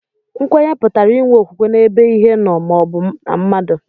Nkwenye pụtara inwe okwukwe n'ebe Ihe nó ma o bu na mmadu